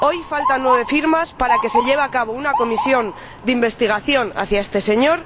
Hoy faltan nueve firmas para que se cree una comisión de investigación sobre este señor